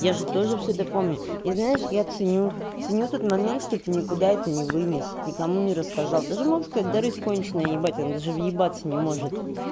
я же тоже всё это помню и знаешь я ценю ценю тот момент что ты никуда это не вынес никому не рассказал ты же можешь как дарыф конченная ебать она даже въебаться не может